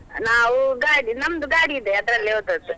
ನಾವು ಗಾಡಿ ನಮ್ದು ಗಾಡಿ ಇದೆ ಅದ್ರಲ್ಲೇ ಹೋದದ್ದು.